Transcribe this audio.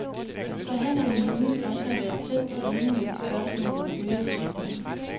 Forhandlerne menes også at være tæt på enighed i spørgsmålet om øget bistand.